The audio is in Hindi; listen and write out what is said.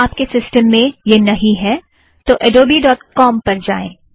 यदि आप के सिस्टम में यह नहीं है तो adobeकॉम अड़ोबी डॉट कॉम में जाएं